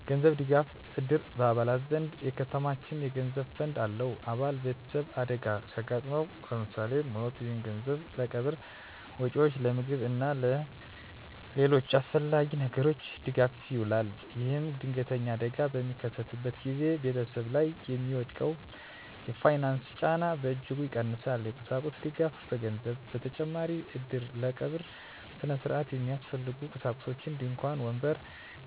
የገንዘብ ድጋፍ: እድር በአባላት ዘንድ የተከማቸ የገንዘብ ፈንድ አለው። አባል ቤተሰብ አደጋ ሲያጋጥመው (ለምሳሌ ሞት)፣ ይህ ገንዘብ ለቀብር ወጪዎች፣ ለምግብ እና ለሌሎች አስፈላጊ ነገሮች ድጋፍ ይውላል። ይህም ድንገተኛ አደጋ በሚከሰትበት ጊዜ ቤተሰብ ላይ የሚወድቀውን የፋይናንስ ጫና በእጅጉ ይቀንሳል። የቁሳቁስ ድጋፍ: ከገንዘብ በተጨማሪ እድር ለቀብር ሥነ ሥርዓት የሚያስፈልጉ ቁሳቁሶችን (ድንኳን፣ ወንበር፣